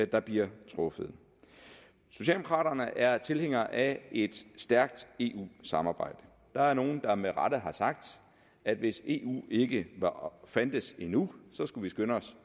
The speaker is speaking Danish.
der bliver truffet socialdemokraterne er tilhængere af et stærkt eu samarbejde der er nogle der med rette har sagt at hvis eu ikke fandtes endnu skulle vi skynde os